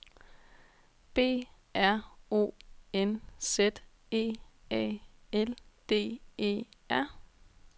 B R O N Z E A L D E R